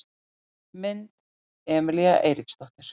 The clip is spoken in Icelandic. Mynd: Emelía Eiríksdóttir